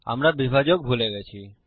আমরা বিভাজক ভুলে গেছি